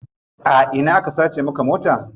A ina aka sace maka mota?